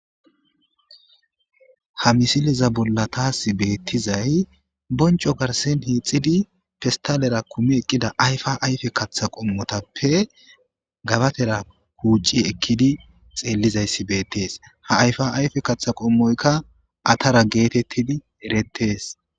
Ha misileza bolla taas beettizay bonco garsen hiixidi fistalera kumi eqqida ayfa ayfe katha qommotappe gabatera kuucci ekkidi xeellizayssi beettees ha ayfa ayfe katha qommoyka atara geetettidi erettees.